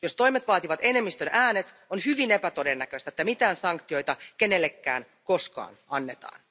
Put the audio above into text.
Jos toimet vaativat enemmistön äänet, on hyvin epätodennäköistä, että mitään sanktioita kenellekään koskaan annetaan.